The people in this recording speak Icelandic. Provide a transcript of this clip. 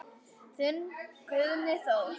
Þinn Guðni Þór.